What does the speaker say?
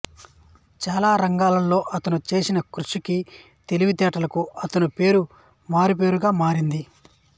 చాలా రంగాల్లో అతను చేసిన కృషికి తెలివితేటలకు అతను పేరు మారుపేరుగా మారింది